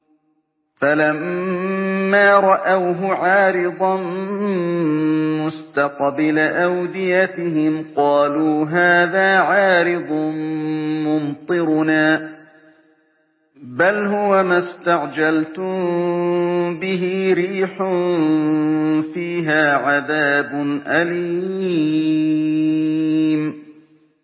فَلَمَّا رَأَوْهُ عَارِضًا مُّسْتَقْبِلَ أَوْدِيَتِهِمْ قَالُوا هَٰذَا عَارِضٌ مُّمْطِرُنَا ۚ بَلْ هُوَ مَا اسْتَعْجَلْتُم بِهِ ۖ رِيحٌ فِيهَا عَذَابٌ أَلِيمٌ